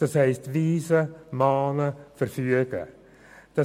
Dies bedeutet, anweisen, mahnen und verfügen zu müssen.